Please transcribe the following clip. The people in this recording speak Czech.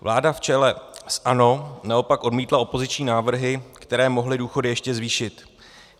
Vláda v čele s ANO naopak odmítla opoziční návrhy, které mohly důchody ještě zvýšit.